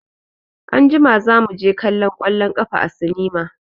Anjima za mu je kallon ƙwallon ƙafa a sinima.